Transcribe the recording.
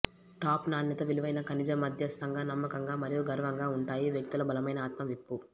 top నాణ్యత విలువైన ఖనిజ మధ్యస్తంగా నమ్మకంగా మరియు గర్వంగా ఉంటాయి వ్యక్తుల బలమైన ఆత్మ విప్పు